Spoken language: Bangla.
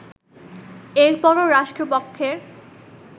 এরপরও রাষ্ট্রপক্ষের